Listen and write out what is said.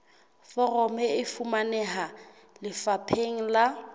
foromo e fumaneha lefapheng la